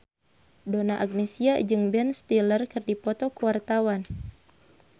Donna Agnesia jeung Ben Stiller keur dipoto ku wartawan